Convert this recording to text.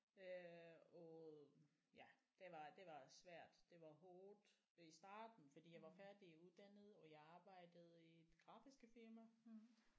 Øh og ja det var det var svært det var hårdt i starten fordi jeg var færdiguddannet og jeg arbejdede i et grafiske firma